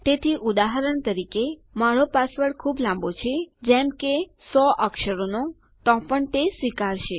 તેથી ઉદાહરણ તરીકે મારો પાસવર્ડ ખુબ લાંબો છે જેમ કે 100 અક્ષરોનો તો પણ તે સ્વીકારશે